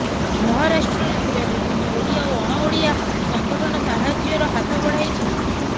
ମହାରାଷ୍ଟ୍ରରେ ଥିବା ବିଭିନ୍ନ ଓଡ଼ିଆ ଓ ଅଣଓଡ଼ିଆ ସଂଗଠନ ସାହାଯ୍ୟର ହାତ ବଢାଇଛନ୍ତି